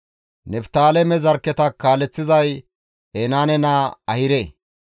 Niftaaleme zarkketa kaaleththizay Enaane naa Ahire.